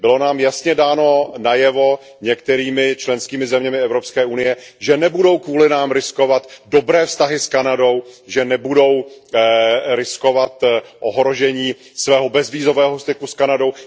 Bylo nám jasně dáno najevo některými členskými zeměmi Evropské unie, že nebudou kvůli nám riskovat dobré vztahy s Kanadou, že nebudou riskovat ohrožení svého bezvízového styku s Kanadou.